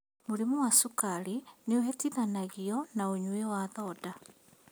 Mĩrimu ta cukari nĩ ĩhutithanagio na ũnyui wa thonda